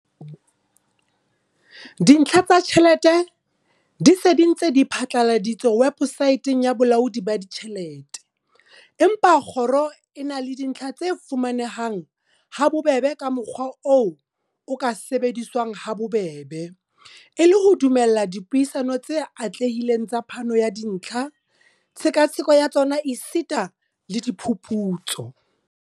Dintlha tsa tjhelete di se di ntse di phatlaladitswe webosaeteng ya Bolaodi ba Ditjhelete, empa kgoro e na le dintlha tse fuma nehang habobebe ka mokgwa o ka sebediswang habobebe, e le ho dumella dipuisano tse atlehileng tsa phano ya dintlha, tshekatsheko ya tsona esita le diphuputso.